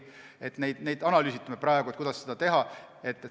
Me praegu analüüsime, kuidas seda teha.